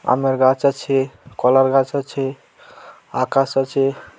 আমের গাছ আছে কলার গাছ আছে আকাশ আছে ।